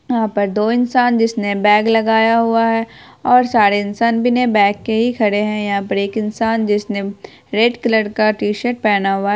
यहाँ पर दो इंसान जिसने बैग लगया हुआ है और सारे इंसान बिना के ही खड़े है यहाँ पे एक इंसान जिसने रेड का टी-शिर्ट पहना हुआ है।